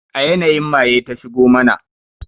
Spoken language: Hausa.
A yanayin maye ta shigo mana